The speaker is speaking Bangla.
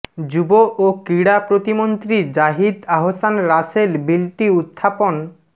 যুব ও ক্রীড়া প্রতিমন্ত্রী জাহিদ আহসান রাসেল বিলটি উত্থাপন